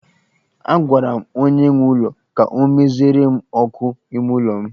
Agwara m onye nwe ụlọ ka ọ meziere m ọkụ ime ụlọ m